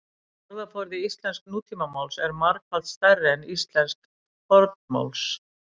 Orðaforði íslensks nútímamáls er margfalt stærri en íslensks fornmáls.